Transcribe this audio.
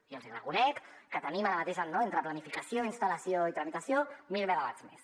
i els hi reconec que tenim ara mateix entre planificació instal·lació i tramitació mil megawatts més